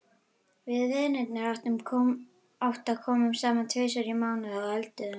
Við vinirnir átta komum saman tvisvar í mánuði og eldum.